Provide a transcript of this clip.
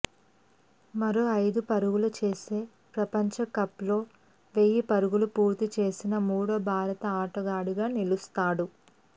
మరో ఐదు పరుగులు చేస్తే ప్రపంచకప్లో వెయ్యి పరుగులు పూర్తి చేసిన మూడో భారత ఆటగాడిగా నిలుస్తాడు